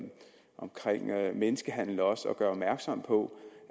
om menneskehandel og gøre opmærksom på